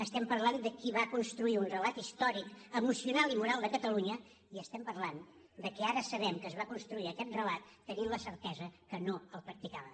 estem parlant de qui va construir un relat històric emocional i moral de catalunya i estem parlant que ara sabem que es va construir aquest relat tenint la certesa que no el practicava